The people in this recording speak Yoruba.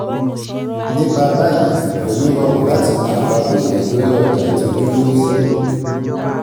nípa báyìí kò ní rọrùn láti mọ àpapọ̀ èrè lórí ọjà àti ojúlówó èrè